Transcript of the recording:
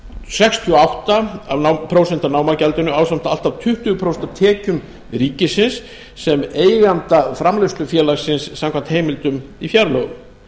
sextíu og átta prósent af námagjaldinu ásamt allt að tuttugu prósent af tekjum ríkisins sem eiganda framleiðslufélagsins samkvæmt heimildum í fjárlögum